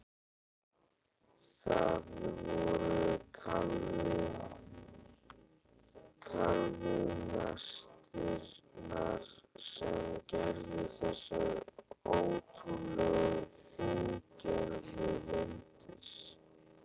Það voru kalvínistarnir sem gerðu þessar ótrúlega fíngerðu myndir.